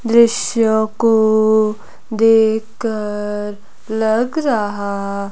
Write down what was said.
दृश्य को देखकर लग रहा--